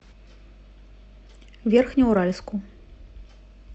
верхнеуральску